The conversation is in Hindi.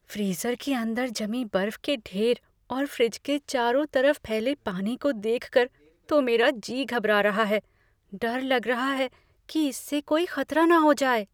फ्रीज़र के अंदर जमी बर्फ के ढेर और फ्रिज के चारों तरफ फैले पानी को देखकर तो मेरा जी घबरा रहा है, डर लग रहा है कि इससे कोई खतरा न हो जाए।